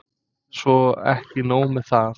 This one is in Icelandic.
Svo ekki nóg með það.